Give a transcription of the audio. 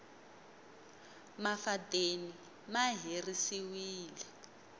mafadeni ma herisiwile